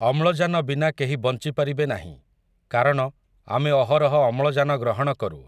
ଅମ୍ଳଜାନ ବିନା କେହି ବଞ୍ଚିପାରିବେ ନାହିଁ, କାରଣ, ଆମେ ଅହରହ ଅମ୍ଳଜାନ ଗ୍ରହଣ କରୁ ।